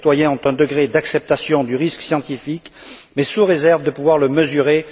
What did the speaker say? Les citoyens ont un degré d'acceptation du risque scientifique mais sous réserve de pouvoir le mesurer.